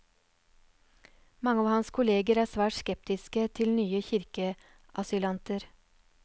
Mange av hans kolleger er svært skeptiske til nye kirkeasylanter.